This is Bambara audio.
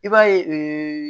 I b'a ye